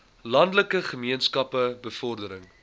landelike gemeenskappe bevordering